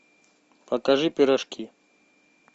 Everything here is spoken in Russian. покажи пирожки